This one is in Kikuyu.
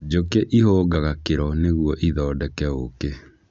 Njũkĩ ihũngaga kĩro nĩguo ithondeke ũkĩ.